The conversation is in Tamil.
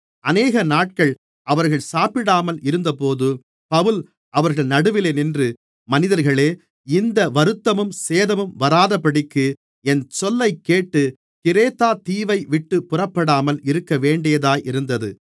அநேகநாட்கள் அவர்கள் சாப்பிடாமல் இருந்தபோது பவுல் அவர்கள் நடுவிலே நின்று மனிதர்களே இந்த வருத்தமும் சேதமும் வராதபடிக்கு என் சொல்லைக்கேட்டு கிரேத்தாதீவைவிட்டுப்புறப்படாமல் இருக்கவேண்டியதாயிருந்தது